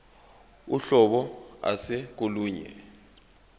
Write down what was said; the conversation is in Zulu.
uhlobo ase kolunye